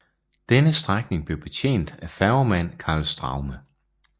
Denne strækning blev betjent af færgemand Karl Straume